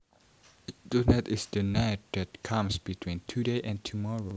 Tonight is the night that comes between today and tomorrow